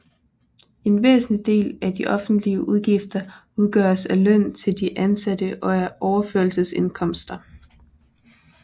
En væsentlig del af de offentlige udgifter udgøres af løn til de ansatte og af overførselsindkomster